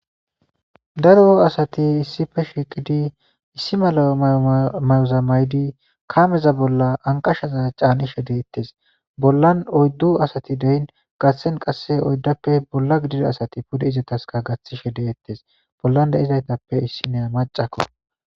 daro asati issippe shiiqidi issi mala ymayoza maydi kameza bolla anqashaza caanishede ettees bollan oyddu asati deyin gathsen qasse oyddappe bolla gidida asati pude izetaska gaththi shede ettes bollan de'zaytappe issineya macakko